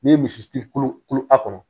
N'i ye misi turu a kɔnɔ